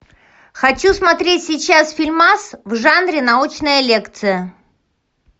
хочу смотреть сейчас фильмас в жанре научная лекция